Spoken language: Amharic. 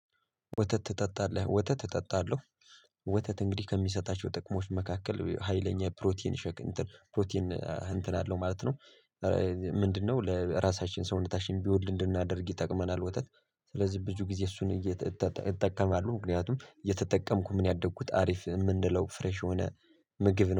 ወተት ትጠጣለህ ወተት እጠጣለሁ? ወተት እንግዲህ ከሚሰጣቸው ጥቅሞች መካከል ሀይለኛ ፕሮቲን ፕሮቲን እንትን አለው ማለት ነው። ምንድነው? ለራሳችን ሰውነታችን ቢወድ እንድናደርግ ይጠቅመናል። ወተት ስለዚህ ብዙ ጊዜ እሱን እጠቀማለሁ ምክንያቱም የተጠቀምኩት ምን ያደግኩት ሀሪፍ የምንለው ፍሬሽ የሆነ ምግብ ነው